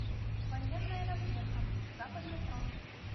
военная разведка западный фронт